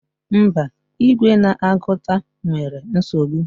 Mba, igwe na-agụta nwere nsogbu.